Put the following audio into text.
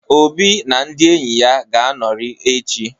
Obi na ndị enyi ga-anọrị echi.